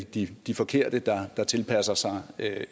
de de forkerte der tilpasser sig